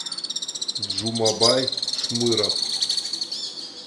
джумабай шмыров